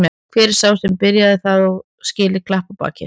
Hver sá sem byrjaði það á skilið klapp á bakið.